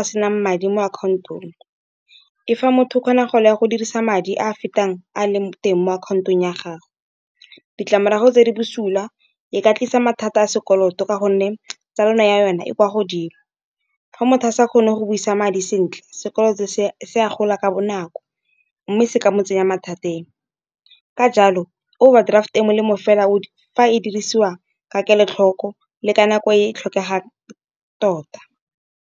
a senang madi mo account-ong, e fa motho o kgona go le ya go dirisa madi a a fetang a leng teng mo account-ong ya gago. Ditlamorago tse di bosula e ka tlisa mathata a sekoloto ka gonne tsalwano ya yona e kwa godimo. Fa motho a sa kgone go busa madi sentle, sekoloto se a gola ka bonako, mme se ka mo tsenya mathateng. Ka jalo overdraft e molemo fela o fa e dirisiwa ka kelotlhoko le ka nako e e tlhokegang tota.